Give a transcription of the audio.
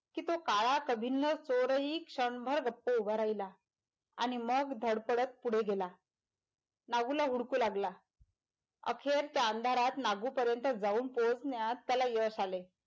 कि तो काळा कभिन्न चोर हि क्षणभर गप्प उभा राहिला आणि मग धडपडत पुढे गेला नागुला हुडकू लागला अखेर त्या अंधारात नागूपर्यँत जाऊन पोहचण्यात त्याला यश आले.